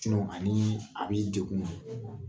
Ani ani degun bɛɛ